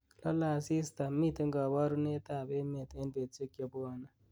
lole asista miten koborunrt ab emet en betusiek chebuone